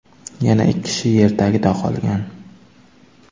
Yana ikki kishi yer tagida qolgan.